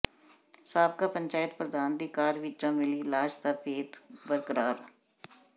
ਸਾਬਕਾ ਪੰਚਾਇਤ ਪ੍ਰਧਾਨ ਦੀ ਕਾਰ ਵਿੱਚੋਂ ਮਿਲੀ ਲਾਸ਼ ਦਾ ਭੇਤ ਬਰਕਰਾਰ